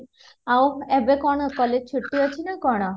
ଆଉ ଏବେ କଣ college ଛୁଟି ଅଛି ନା କଣ?